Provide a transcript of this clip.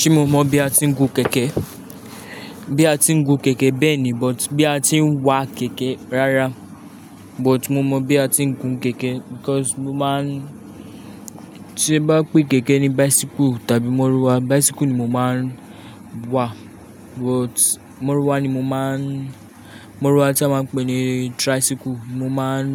Ṣé mo mọ bí a ti ń gun kẹ̀kẹ́? Bí a ti ń gun kẹ̀kẹ́, bẹ́ẹ̀ ni, but bí a ti ń wa kẹ̀kẹ́ rárá. But mo mọ bí a ti ń gun kẹ̀kẹ́ because mo máa ń-- tí bá pé kẹ̀kẹ́ ni bicycle tàbí mọ́rúwà, bicycle ni mo máa ń wa. But mọ́rúwà ni mo máa ń-- mọ́rúwà tí a máa ń pè ní tricycle mo máa ń